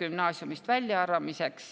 gümnaasiumist väljaarvamiseks.